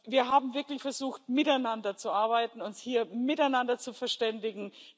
Wir haben wirklich versucht, miteinander zu arbeiten, uns hier miteinander zu verständigen.